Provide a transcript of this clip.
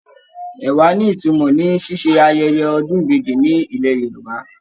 Ẹ̀wà ní ìtumọ̀ ní ṣíṣe ayẹyẹ ọdún ìbejì ní ilẹ̀ Yorùbá.